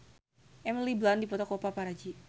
Emily Blunt dipoto ku paparazi